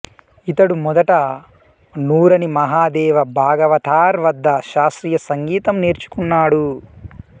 ఇతడు మొదట నూరని మహాదేవ భాగవతార్ వద్ద శాస్త్రీయ సంగీతం నేర్చుకున్నాడు